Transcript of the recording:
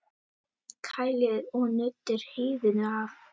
Kælið og nuddið hýðinu af.